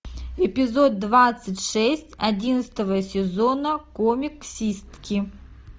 эпизод двадцать шесть одиннадцатого сезона комиксистки